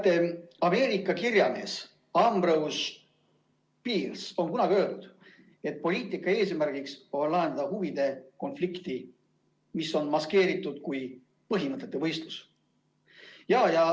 Teate, Ameerika kirjamees Ambrose Bierce on kunagi öelnud, et poliitika eesmärk on lahendada huvide konflikti, mis on maskeeritud põhimõtete võistluseks.